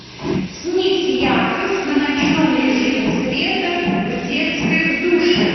снизь яркость на ночном режиме света в детской в душе